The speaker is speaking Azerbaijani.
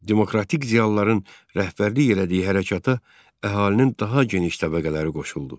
Demokratik ziyalıların rəhbərlik elədiyi hərəkata əhalinin daha geniş təbəqələri qoşuldu.